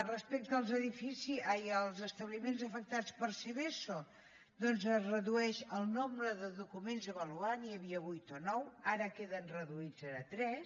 respecte als establiments afectats per seveso doncs es redueix el nombre de documents a avaluar n’hi havia vuit o nou ara queden reduïts a tres